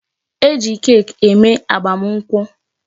E ji cake eme agbamakwụkwọ.